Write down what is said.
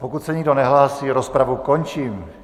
Pokud se nikdo nehlásí, rozpravu končím.